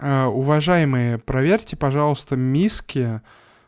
а уважаемые проверьте пожалуйста миски